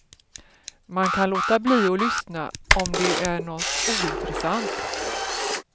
Man kan låta bli att lyssna om det är något ointressant.